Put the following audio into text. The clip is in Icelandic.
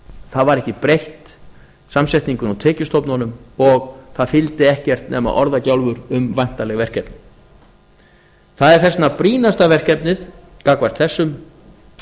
það var ekki breytt samsetningunni á tekjustofnunum og það fylgdi ekkert nema orðagjálfur um væntanleg verkefni það er þess vegna brýnasta verkefnið gagnvart þessum